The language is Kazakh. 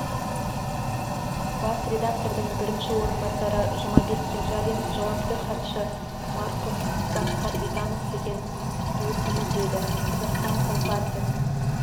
бас редактордың бірінші орынбасары жұмабек кенжалин жауапты хатшы марқұм басқар битанов деген досымыз еді қазақстан компартиясы